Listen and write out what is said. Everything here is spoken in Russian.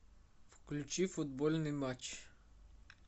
включи футбольный матч